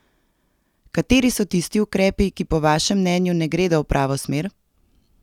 Kateri so tisti ukrepi, ki po vašem mnenju ne gredo v pravo smer?